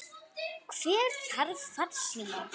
Hver þarf farsíma?